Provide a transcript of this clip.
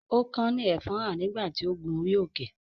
ó kán ní ẹfọ́nhà nígbà tí ó ń gun orí-òkè.